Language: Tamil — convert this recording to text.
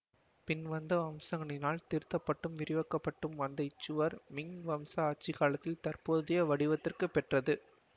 பின் வந்த வம்சங்களினால் திருத்தப்பட்டும் விரிவாக்கப்பட்டும் வந்த இச்சுவர் மிங் வம்ச ஆட்சி காலத்தில் தற்போதைய வடிவத்திற்கு பெற்றது